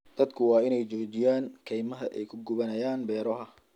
Dadku waa in ay joojiyaan kaymaha ay ku gubanayaan beeraha.